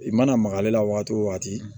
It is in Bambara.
I mana maga ale la waati o waati